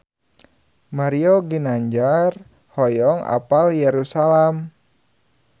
Mario Ginanjar hoyong apal Yerusalam